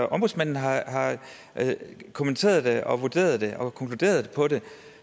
ombudsmanden har kommenteret det og vurderet det og konkluderet